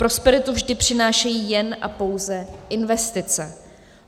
Prosperitu vždy přinášejí jen a pouze investice.